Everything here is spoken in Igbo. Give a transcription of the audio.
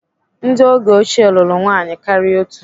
Ndị oge ochie lụrụ nwaanyị karịa otú.